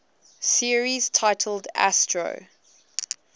series titled astro